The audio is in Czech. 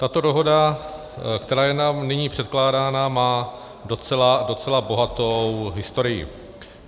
Tato dohoda, která je nám nyní předkládána, má docela bohatou historii.